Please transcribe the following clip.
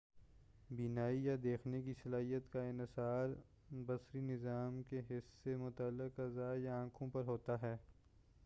بینائی یا دیکھنے کی صلاحیت کا انحصار بصری نظام کے حس سے متعلق اعضاء یا آنکھوں پر ہوتا ہے